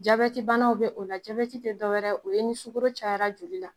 Jabɛtibanaw be o la jabɛti te dɔ wɛrɛ o ye ni sugoro cayara joli la